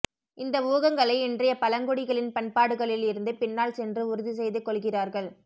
இந்த ஊகங்களை இன்றைய பழங்குடிகளின் பண்பாடுகளில் இருந்து பின்னால் சென்று உறுதிசெய்துகொள்கிறார்கள்